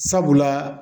Sabula